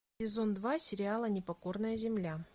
сезон два сериала непокорная земля